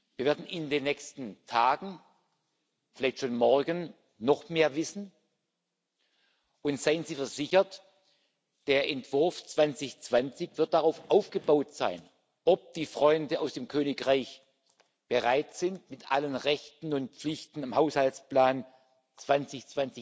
Wir werden in den nächsten Tagen, vielleicht schon morgen, noch mehr wissen. Und seien Sie versichert, der Entwurf 2020 wird darauf aufbauten, ob die Freunde aus dem Königreich bereit sind, mit allen Rechten und Pflichten am Haushaltsplan 2020